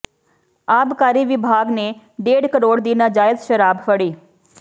ਆਬਕਾਰੀ ਵਿਭਾਗ ਨੇ ਡੇਢ ਕਰੋੜ ਦੀ ਨਾਜਾਇਜ਼ ਸ਼ਰਾਬ ਫੜੀ